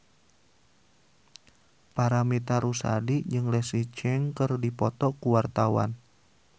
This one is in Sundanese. Paramitha Rusady jeung Leslie Cheung keur dipoto ku wartawan